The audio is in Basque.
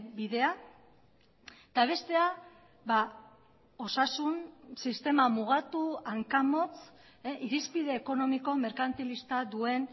bidea eta bestea osasun sistema mugatu hanka motz irizpide ekonomiko merkantilista duen